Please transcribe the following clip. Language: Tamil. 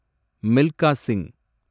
மில்கா சிங்